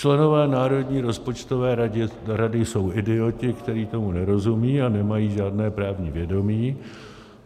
Členové Národní rozpočtové rady jsou idioti, kteří tomu nerozumějí a nemají žádné právní vědomí.